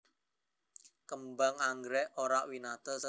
Kembang anggrèk éndah banget lan variasiné mèh ora winates